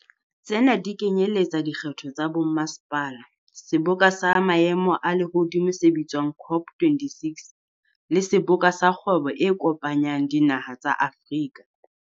Tsena di kenyeletsa dikgetho tsa bommasepala, seboka sa maemo a lehodimo se bitswang COP26, le Seboka sa Kgwebo e Kopanyang Dinaha tsa Afrika.